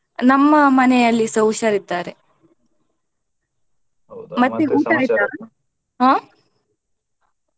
ನಮ್ಮ ಮನೆಯಲ್ಲಿಸ ಹುಷಾರಿದ್ದಾರೆ ಮತ್ತೆ ಹ.